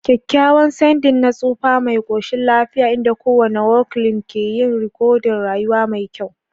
Kyakkyawan ceding na tsufa mai koshin lafiya, inda kowane wrinkle ke yin rikodin rayuwa mai kyau.